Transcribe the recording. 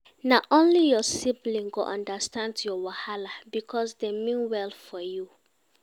Na only your siblings go understand your wahala, because dem mean well for you.